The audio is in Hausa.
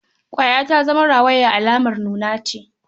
Ƙwaya ta zama rawaya alamar nuna ce.